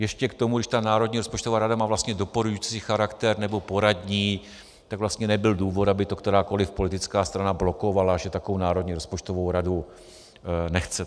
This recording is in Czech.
Ještě k tomu, když ta národní rozpočtová rada má vlastně doporučující charakter, nebo poradní, tak vlastně nebyl důvod, aby to kterákoliv politická strana blokovala, že takovou Národní rozpočtovou radu nechce.